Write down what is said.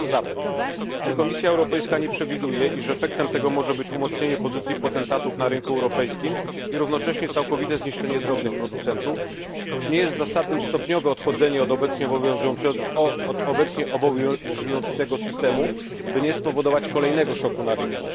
Pytam zatem czy Komisja Europejska nie przewiduje, iż efektem tego może być umocnienie pozycji potentatów na rynku europejskim i równocześnie całkowite zniszczenie drobnych producentów? Czy nie jest zasadnym stopniowe odchodzenie od obecnie obowiązującego systemu, by nie spowodować kolejnego szoku na rynku?